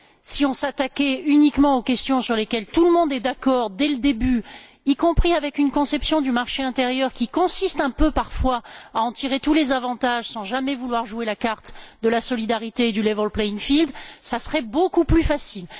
Si on s'attaquait uniquement aux questions sur lesquelles tout le monde est d'accord dès le début, y compris avec une conception du marché intérieur qui consiste un peu, parfois, à en tirer tous les avantages, sans jamais vouloir jouer la carte de la solidarité et du level playing field ça serait beaucoup plus facile.